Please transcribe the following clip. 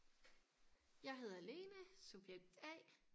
Jeg hedder Lene subjekt a